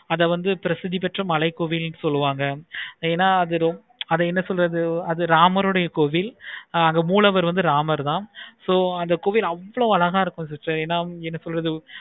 அத வந்து பெற்ற மழை கோவில் சொல்லுவாங்க. ஏன அத என்ன சொல்றது அது ராமருடைய கோவில் நாங்க வந்து ராமர் தான் so அந்த கோவில் அவ்வளோ அழகா இருக்கும். என